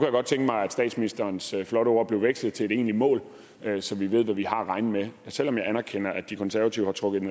godt tænke mig at statsministerens flotte ord blevet vekslet til et egentlig mål så vi ved hvad vi har at regne med og selv om jeg anerkender at de konservative har trukket i